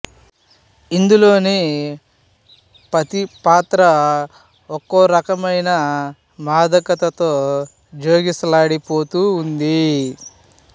ఇందులోని ప్రతి పాత్రా ఒక్కో రకమైన మాదకతతో జోగిసలాడి పోతూ ఉంది